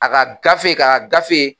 A ka gafe k'a ka gafe